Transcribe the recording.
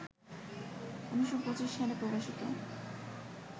১৯২৫ সালে প্রকাশিত